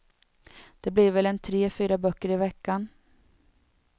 Det blir väl en tre, fyra böcker i veckan.